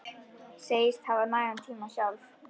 Segist hafa nægan tíma sjálf.